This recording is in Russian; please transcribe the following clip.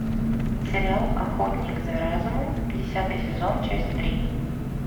сериал охотник за разумом десятый сезон часть три